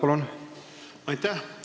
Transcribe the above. Aitäh!